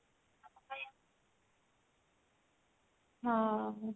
ହଁ